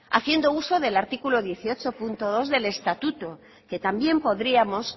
haciendo uso del artículo dieciocho punto dos del estatuto que también podríamos